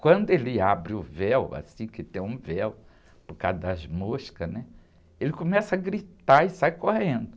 Quando ele abre o véu, assim que tem um véu, por causa das moscas, né? Ele começa a gritar e sai correndo.